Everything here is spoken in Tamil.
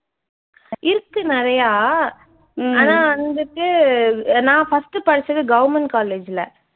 இருக்கு நிறையா ஆனா வந்துட்டு நான் first படிச்சது government college ல